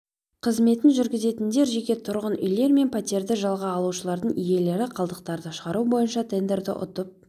қызметін жүргізетіндер жеке тұрғын үйлер мен пәтерді жалға алушылардың иелері қалдықтарды шығару бойынша тендерді ұтып